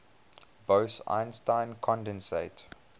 bose einstein condensate